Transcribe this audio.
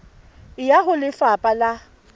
e ya ho lefapha la